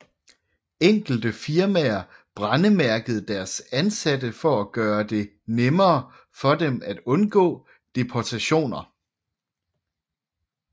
Enkelte firmaer brændemærkede deres ansatte for at gøre det nemmere for dem at undgå deportationer